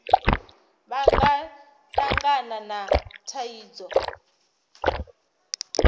vha nga tangana na thaidzo